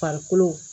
Farikolo